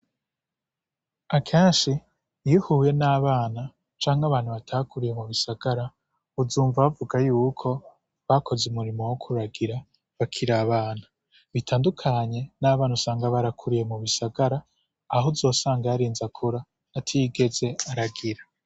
Akenshi iyo uhuye n' abana canke abantu batakuriye mugisagara uzumva bavuga yuko bakoze umurimo wo kuragira bakiri abana bitandukanye n' abana usanga barakuriye mugisagara aho uzosanga yarinze akura atigeze aragira.